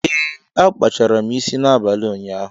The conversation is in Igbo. Ee, akpachara isi m n'abalị ụnyaahụ.